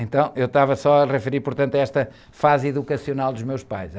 Então, eu estava só a referir, portanto, a esta fase educacional dos meus pais, né?